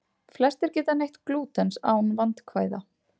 Flestir geta neytt glútens án vandkvæða.